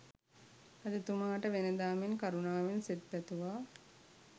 රජතුමාට වෙනදා මෙන් කරුණාවෙන් සෙත් පැතුවා.